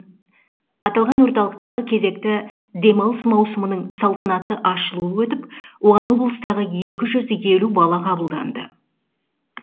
аталған орталықтағы кезекті демалыс маусымының салтанатты ашылуы өтіп оған облыстағы екі жүз елу бала қабылданды